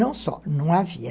Não só, não havia...